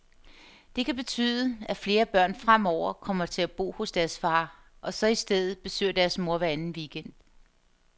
Det kan betyde, at flere børn fremover kommer til at bo hos deres far, og så i stedet besøger deres mor hver anden weekend.